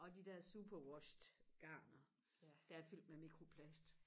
og de der superwashed garner der er fyldt med mikroplast